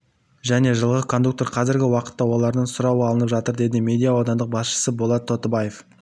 және жылғы кондуктор қазіргі уақытта олардан сұрау алынып жатыр деді медеу аудандық басшысы болат тотыбаев